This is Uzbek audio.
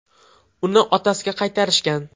Uni otasiga qaytarishgan.